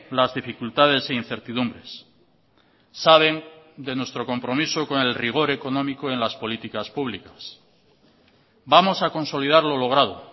las dificultades e incertidumbres saben de nuestro compromiso con el rigor económico en las políticas públicas vamos a consolidar lo logrado